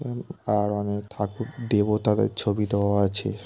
আর অনেক ঠাকুর দেবতাদের ছবি দেওয়া আছে।